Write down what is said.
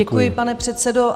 Děkuji, pane předsedo.